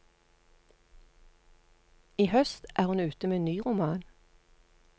I høst er hun ute med ny roman.